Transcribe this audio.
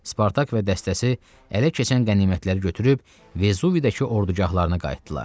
Spartak və dəstəsi ələ keçən qənimətlər götürüb Vezuvidəki ordugahlarına qayıtdılar.